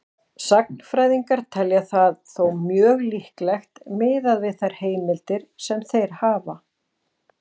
Sagnfræðingar telja það þó mjög líklegt miðað við þær heimildir sem þeir hafa.